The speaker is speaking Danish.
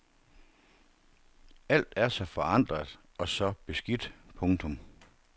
Alt er så forandret og så beskidt. punktum